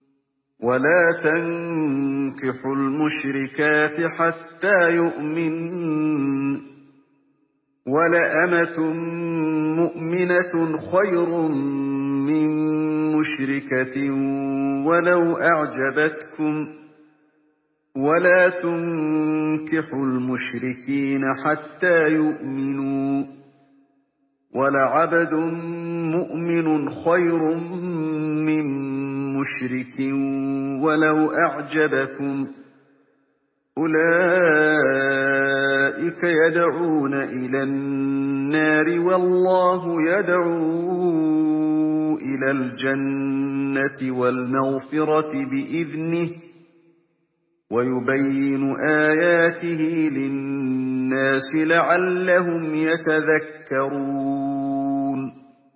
وَلَا تَنكِحُوا الْمُشْرِكَاتِ حَتَّىٰ يُؤْمِنَّ ۚ وَلَأَمَةٌ مُّؤْمِنَةٌ خَيْرٌ مِّن مُّشْرِكَةٍ وَلَوْ أَعْجَبَتْكُمْ ۗ وَلَا تُنكِحُوا الْمُشْرِكِينَ حَتَّىٰ يُؤْمِنُوا ۚ وَلَعَبْدٌ مُّؤْمِنٌ خَيْرٌ مِّن مُّشْرِكٍ وَلَوْ أَعْجَبَكُمْ ۗ أُولَٰئِكَ يَدْعُونَ إِلَى النَّارِ ۖ وَاللَّهُ يَدْعُو إِلَى الْجَنَّةِ وَالْمَغْفِرَةِ بِإِذْنِهِ ۖ وَيُبَيِّنُ آيَاتِهِ لِلنَّاسِ لَعَلَّهُمْ يَتَذَكَّرُونَ